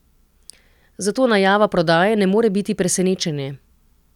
Zato najava prodaje ne more biti presenečenje.